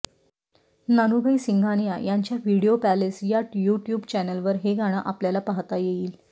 नानुभाई सिंघानिया यांच्या video palace या YouTube चॅनेलवर हे गाणं आपल्याला पाहता येईल